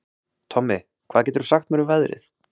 Tommi, hvað geturðu sagt mér um veðrið?